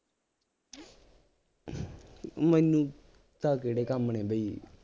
ਮੈਨੂੰ ਤਾਂ ਕਿਹੜੇ ਕੰਮ ਨੇ ਬਈ